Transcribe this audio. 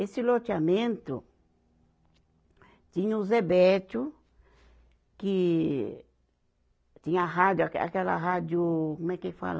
Esse loteamento tinha o Zé Bettio, que tinha a rádio, aquela rádio, como é que ele fala?